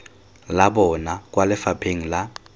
la bona kwa lefapheng la